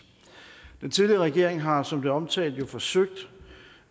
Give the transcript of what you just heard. den tidligere regering har som det omtalt jo forsøgt